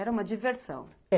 Era uma diversão.